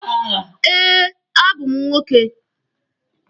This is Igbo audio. Eh, a bụ m nwoke.